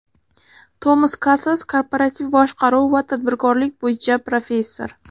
Tomas Kasas Korporativ boshqaruv va tadbirkorlik bo‘yicha professor.